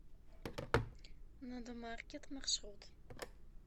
надомаркет маршрут